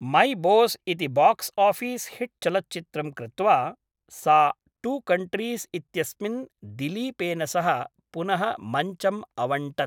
मै Boss इति box office hit चलच्चित्रं कृत्वा सा टू कण्ट्रीस् इत्यस्मिन् दिलीपेन सह पुनः मञ्चम् अवण्टत्।